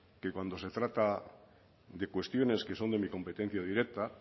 que cuando se trata de cuestiones que son de mi competencia directa